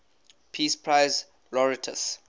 peace prize laureates